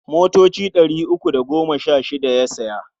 Motoci ɗari uku da goma sha shida ya saya.